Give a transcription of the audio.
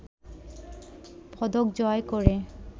পদক জয় করে